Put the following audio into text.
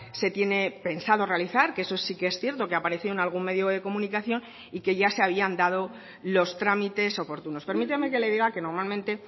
se tiene pensado realizar que eso sí que es cierto que apareció en algún medio de comunicación y que ya se habían dado los trámites oportunos permítame que le diga que normalmente